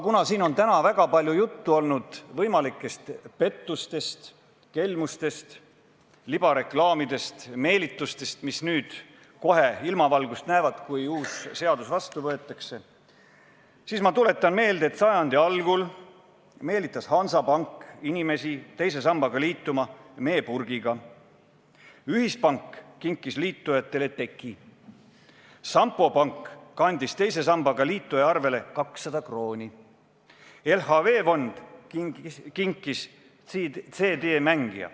Kuna siin on täna väga palju juttu olnud võimalikest pettustest, kelmustest, libareklaamidest, meelitustest, mis kohe, kui uus seadus vastu võetakse, ilmavalgust näevad, siis ma tuletan meelde, et sajandi algul meelitas Hansapank inimesi teise sambaga liituma meepurgiga, Ühispank kinkis liitujatele teki, Sampo Pank kandis teise sambaga liituja arvele 200 krooni, LHV fond kinkis liitujale CD-mängija.